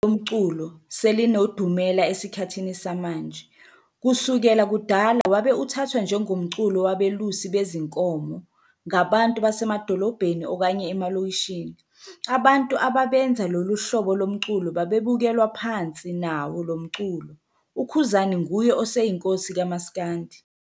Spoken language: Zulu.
Yize llu hlobo lomculo selinedumela esikhathini samanje, kususkela kudala wabe uthathwa njengomculo wabelusi bezinkomo ngabantui basemadolobheni okanye emalokishini. Abantu ababenza lolu hlobo lomculo babebukelwa phansi nawo lomculo ukhuzani nguye oseyinkosi kamaskandi